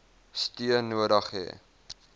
steun nodig hê